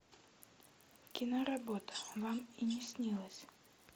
киноработа вам и не снилось